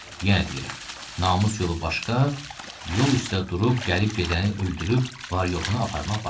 Yenə deyirəm: namus yolu başqa, yol üstdə durub gəlib gedəni öldürüb var-yoxunu aparmaq başqa.